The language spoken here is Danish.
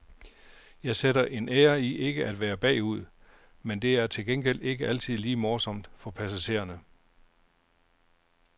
Jeg sætter en ære i ikke at være bagud, men det er til gengæld ikke altid lige morsomt for passagererne.